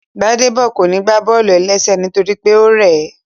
Gbádébọ̀ kò ní gbá bọ́ọ̀lù-ẹlẹ́sẹ̀ nítorí pé ó rẹ̀ẹ́